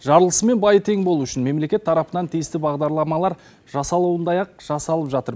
жарлысы мен байы тең болу үшін мемлекет тарапынан тиісті бағдарламалар жасалуындай ақ жасалып жатыр